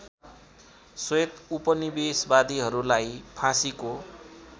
श्वेत उपनिवेशवादीहरूलाई फाँसीको